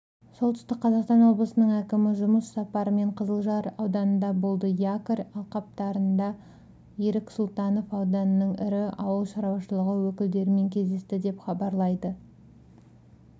солтүстік қазақстан облысының әкімі жұмыс сапарымен қызылжар ауданында болды якорь алқаптарында ерік сұлтанов ауданның ірі ауыл шаруашылығы өкілдерімен кездесті деп хабарлайды